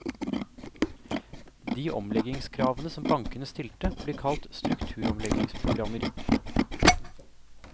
De omleggingskravene som bankene stilte, blir kalt strukturomleggingsprogrammer.